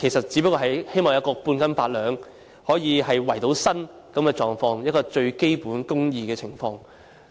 只不過是希望半斤八兩，可以為生，一個最基本的公義情況。